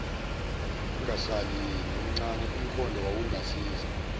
kwakungasali nomncane umkhondoowawungasiza